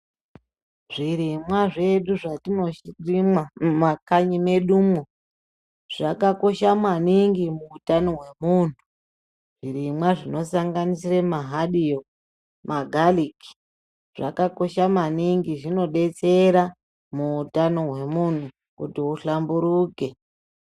Zvirimwa zvedu zvatinorima mumakanyi medumwo zvakakosha maningi muutano hwemunhu. Zvirimwa zvinosanganisire mahadiyo, magariki zvakakosha maningi. Zvinodetsera muutano hwemunhu kuti kuhlamburuka.